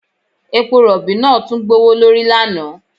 Epo rọ̀bì náà tún gbówó lórí lánàá